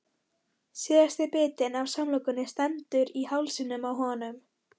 Síðasti bitinn af samlokunni stendur í hálsinum á honum.